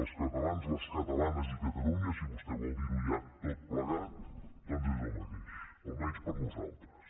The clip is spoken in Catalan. els catalans les catalanes i catalunya si vostè vol dir ho ja tot plegat doncs és el mateix almenys per nosaltres